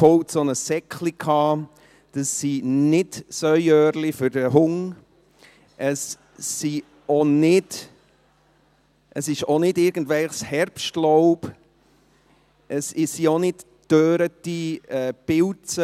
Das sind keine «Sauöhrchen» für den Hund , es ist auch nicht irgendwelches Herbstlaub, es sind auch nicht gedörrte Pilze.